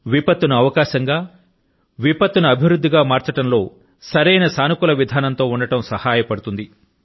నా ప్రియమైన దేశ వాసులారా విపత్తు ను అవకాశం గా విపత్తు ను అభివృద్ధి గా మార్చడం లో సరైన సానుకూల విధానం తో ఉండడం సహాయపడుతుంది